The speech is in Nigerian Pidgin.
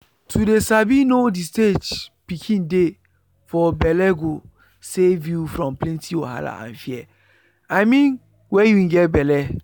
to dey sabi know the stage pikin dey for bellego save you from plenty wahala and fear i mean wen you get belle.